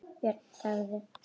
Björn þagði.